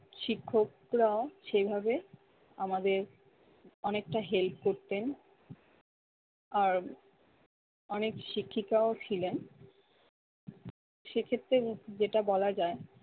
শিক্ষকরা সেইভাবে আমাদের অনেকটা help করতেন আর অনেক শিক্ষিকাও ছিলেন সে ক্ষেত্রে উহ যেটা বলা যায়